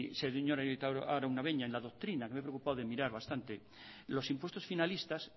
señor arieta araunabeña en la doctrina que me he preocupado de mirar bastante los impuestos finalistas